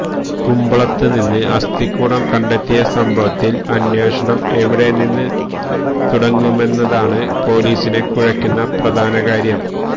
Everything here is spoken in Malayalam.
കൂമ്പളത്ത് നിന്ന് അസ്ഥികൂടം കണ്ടെത്തിയ സംഭവത്തിൽ അന്വേഷണം എവിടെനിന്ന് തുടങ്ങുമെന്നതാണ് പോലീസിനെ കുഴക്കുന്ന പ്രധാനകാര്യം